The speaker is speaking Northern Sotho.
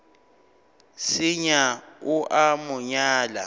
senya o a mo nyala